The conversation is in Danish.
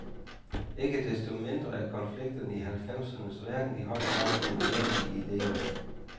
Ikke desto mindre er konflikterne i halvfemsernes verden i høj grad formuleret i idéer.